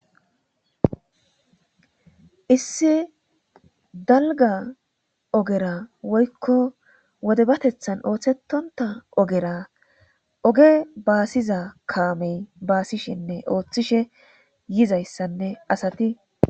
Issi dalga ogera woykko wode batethan ooththetonta ogera oge baasiza kaamey baasishenne ooththishe yizayssanne asati.